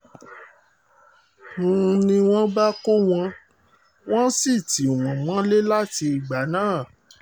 n ní wọ́n bá kó wọn o wọ́n sì tì wọ́n mọ́lé láti ìgbà náà